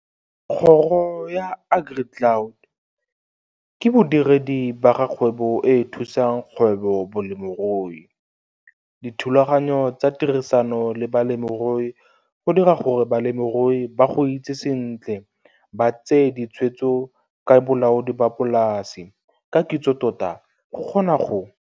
Kgoro ya AgriCloud ke bodiredi ba ga kgwebo e e thusang Kgwebo-Bolemirui, dithulaganyo tsa tirisano le balemirui go dira gore balemirui ba go itse sentle ba tseye ditshwetso ka bolaodi ba polase ka kitsotota go kgona go